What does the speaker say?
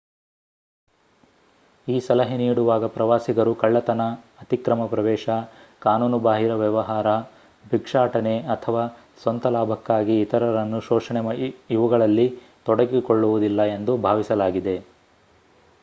ಈ ಸಲಹೆ ನೀಡುವಾಗ ಪ್ರವಾಸಿಗರು ಕಳ್ಳತನ ಅತಿಕ್ರಮ ಪ್ರವೇಶ ಕಾನೂನುಬಾಹಿರ ವ್ಯವಹಾರ ಬಿಕ್ಷಾಟನೆ ಅಥವಾ ಸ್ವಂತ ಲಾಭಕ್ಕಾಗಿ ಇತರರನ್ನು ಶೋಷಣೆ ಇವುಗಳಲ್ಲಿ ತೊಡಗಿಕೊಳ್ಳುವುದಿಲ್ಲ ಎಂದು ಭಾವಿಸಲಾಗಿದೆ